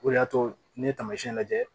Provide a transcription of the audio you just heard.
O de y'a to n'i ye taamasiyɛn lajɛ